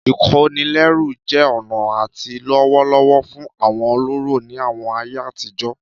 Ìkónilẹ́rú jẹ́ ọ̀nà àti lówó lọ́wọ́ fún àwọn ọlọ́rọ̀ ní àwọn ayé àtijọ́